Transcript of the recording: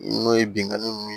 N'o ye binnkanni ninnu